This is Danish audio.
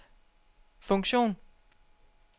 funktion